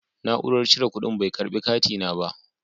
Na'urar cire kuɗin bai karɓi katina ba.